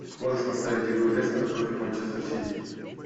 можешь поставить игру лестера против манчестер сити